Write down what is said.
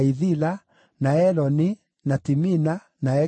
na Eloni, na Timina, na Ekironi,